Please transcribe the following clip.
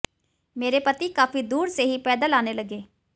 मेरे पति काफी दूर से ही पैदल आने लगे